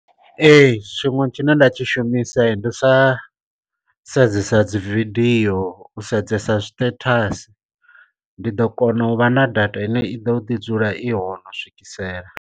Ee tshiṅwe tshine nda tshi shumisa ndi u sa sedzesa dzividio u sedzesa zwi statasi, ndi ḓo kona u vha na data ine i ḓo ḓi dzula i hone u swikisela.